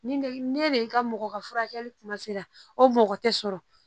Ni ne de ka mɔgɔ ka furakɛli kuma sera o mɔgɔ tɛ sɔrɔ